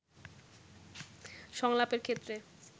সংলাপের ক্ষেত্রে